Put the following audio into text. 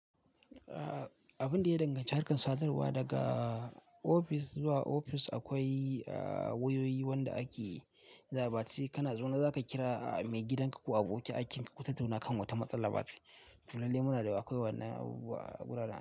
Abun da ya danganci harkar sadarwa daga ofis zuwa ofis, akwai wayoyi wanda ake za'a ba. Sai kana zaune za ka kira maigidanka ko abokin aikinka, ku tattuna kan wata matsala. To lallai muna da akwai wannan abubuwa a guraren.